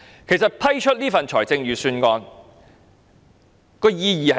其實，通過這份預算案的意義是甚麼？